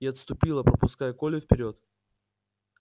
и отступила пропуская колю вперёд